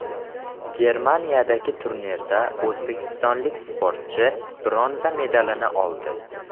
Germaniyadagi turnirda o‘zbekistonlik sportchi bronza medalini oldi.